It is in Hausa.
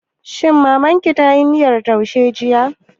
Shin Mamar ki tayi miyar taushe jiya?